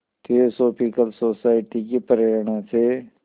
theosophical society की प्रेरणा से